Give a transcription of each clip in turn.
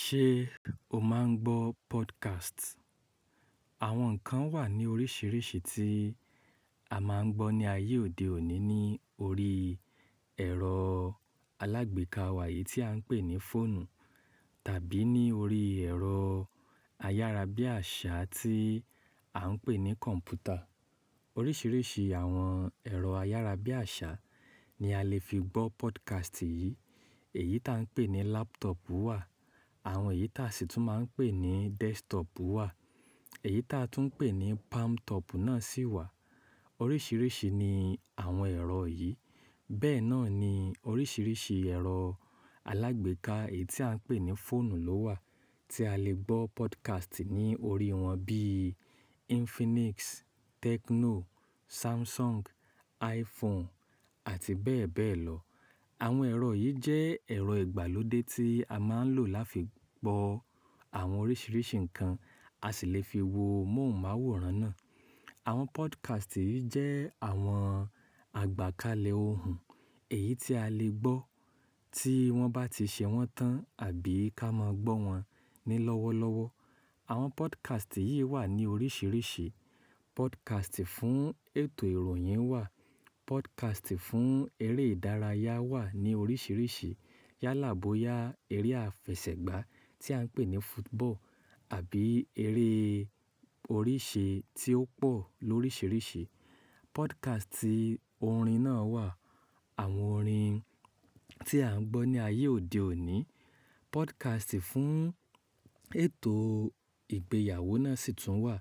Ṣé o máa ń gbọ́ podcast? Àwọn nǹkan wà ní oríṣiríṣi tí a máa ń gbọ́ ní ayé òde òní ní orí ẹ̀rọ alágbèéká wa e yìí tí à ń pè ní fóònù tàbí ní orí ẹ̀rọ ayárabíàṣá tí à ń pè ní kọ̀ǹpútà. Oríṣiríṣi àwọn ẹ̀rọ ayárabíàṣá ni a lè fi gbọ́ podcast yìí. Èyí tí à ń pè ní laptop wà, àwọn èyí tí à sì tún máa ń pè ní desktop wà, èyí tí a tún ń pè ní palmtop náà sì wà. Oríṣiríṣi ni àwọn ẹ̀rọ yìí. Bẹ́ẹ̀ náà ni oríṣiríṣi ẹ̀rọ alágbèéká èyí tí à ń pè ní fóònù ló wà tí a lè gbọ́ podcast ní orí wọn bíí Infinix, Tecno, Samsung, iPhone àti bẹ́ẹ̀ bẹ́ẹ̀ lọ. Àwọn ẹ̀rọ yìí jẹ́ ẹ̀rọ ìgbàlódé tí a máa ń lò lá fi gbọ́ àwọn oríṣiríṣi nǹkan. A sì lè fi wo móhùnmáwòrán náà. Àwọn podcast yìí jẹ́ àwọn àgbakalẹ̀ ohùn èyí tí a lè gbọ́ tí wọ́n bá ti ṣe wọ́n tán àbí ká máa gbọ́ wọn ni lọ́wọ́lọ́wọ́. Àwọn podcast yìí wà ní oríṣiríṣi. Podcast fún ètò ìròyìn wà, podcast fún eré ìdárayá wà ní oríṣiríṣi. Yálà boya, eré àfẹsẹ̀gbá tí à ń pè ní football àbí eré oríṣe tí ó pọ̀ lóríṣiríṣi. Podcast orin náà wà, àwọn orin tí à ń gbọ́ ní ayé òde òní. Podcast fún ètò ìgbéyàwó náà sì tún wà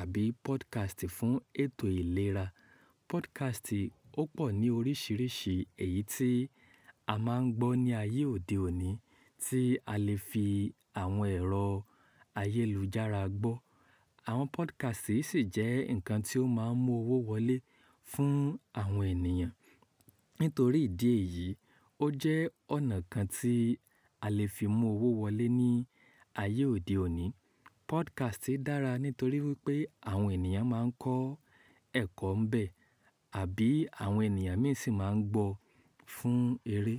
àbí podcast fún ètò ìlera. Podcast ó pọ̀ ní oríṣiríṣi èyí tí a máa ń gbọ́ ní ayé òde òní tí a lè fi àwọn ẹ̀rọ ayélujára gbọ́. Àwọn podcast yìí sì jẹ́ nǹkan tí ó máa ń mú owó wọlé fún àwọn ènìyàn. Nítorí ìdí èyí, ó jẹ́ ọ̀nà kan tí a lè fi mú owó wọlé ní ayé òde òní. Podcast dára nítorí wipé àwọn ènìyàn máa ń kọ́ ẹ̀kọ́ ń bẹ àbí àwọn ènìyàn mìí sì máa ń gbọ́ fún eré.